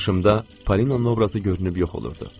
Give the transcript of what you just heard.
Qarşımda Polina obrazı görünüb yox olurdu.